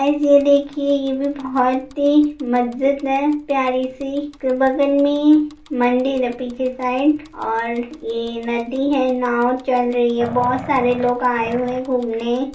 Guys ये देखिये ये भी बहुत ही मस्जिद है प्यारी-सी| फिर बगल में मंदिर है पीछे साइड और ये नदी है नाव चल रही है बहुत सारे लोग आए हुए हैं घूमने।